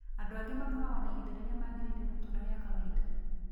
Andũ angĩ makorago na ihinda rĩrĩa mangĩrĩire gũtũũra rĩa kawaida.